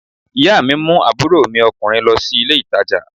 Ìyá mi mú àbúrò mi ọkùnrin lọ sí ilé ìtajà